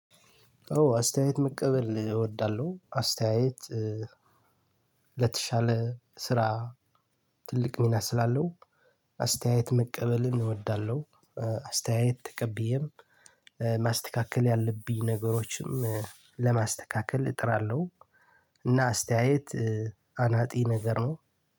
አስተያየት መቀበል እወዳለሁ አስተያየት ለተሻለ ስራ ትልቅ ሚና ስላለው አስተያየት መቀበልን እወዳለሁ። አስተያየት ተቀብዬም ማስተካከል ያለብኝ ነገሮችን ለማስተካከል እጥራለሁ። እና አስተያየት አናጺ ነገር ነው።